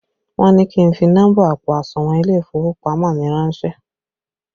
Wọn ní kí n fi nọ́mbà àpò àsùnwọ̀n ilé ìfowópamọ́ mi ránsẹ́